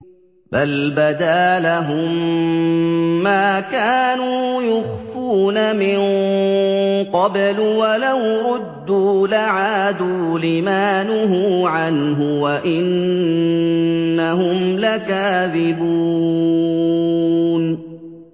بَلْ بَدَا لَهُم مَّا كَانُوا يُخْفُونَ مِن قَبْلُ ۖ وَلَوْ رُدُّوا لَعَادُوا لِمَا نُهُوا عَنْهُ وَإِنَّهُمْ لَكَاذِبُونَ